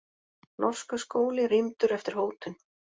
Norskur skóli rýmdur eftir hótun